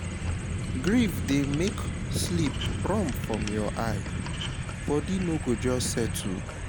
Grief dey make sleep run from your eye, body no go just settle